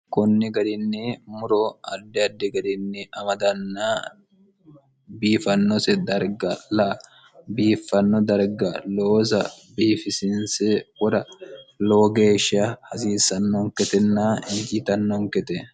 kunni garinni muro ardi addi garinni amadanna biifannose darga la biiffanno darga looza biifisinse wora loo geeshsha hasiissannonketenna hijitannonkete